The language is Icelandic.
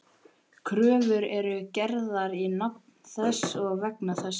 Kröfur eru gerðar í nafni þess og vegna þess.